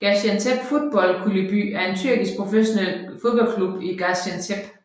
Gaziantep Futbol Kulübü er en tyrkisk professionel fodboldklub i Gaziantep